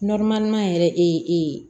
yɛrɛ